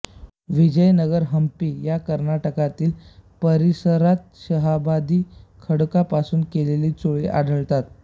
विजयनगर हंपी या कर्नाटकातील परिसरात शहाबादी खडकापासून केलेल्या चुली आढळतात